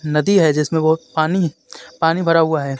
नदी हे जिसमे बोहोत पानी है पानी भरा हुआ हे.